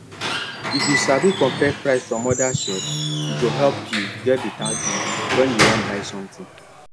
if you sabi compare price from other shops e go help you get better deal when you wan buy something